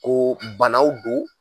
Koo banaw don